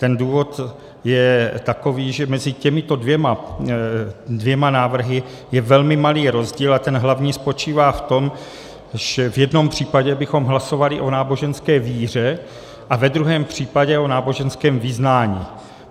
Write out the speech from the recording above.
Ten důvod je takový, že mezi těmito dvěma návrhy je velmi malý rozdíl, a ten hlavní spočívá v tom, že v jednom případě bychom hlasovali o náboženské víře a ve druhém případě o náboženském vyznání.